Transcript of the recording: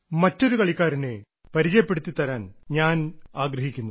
മറ്റൊരു കളിക്കാരനെ പരിചയപ്പെടുത്തിത്തരാൻ ഞാൻ ആഗ്രഹിക്കുന്നു